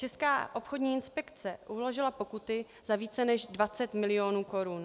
Česká obchodní inspekce uložila pokuty za více než 20 milionů korun.